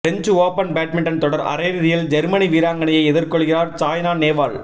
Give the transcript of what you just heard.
French open badminton தொடர் அரையிறுதியில் Germany வீராங்கனையை எதிர் கொள்கிறார் சாய்னா நேவால்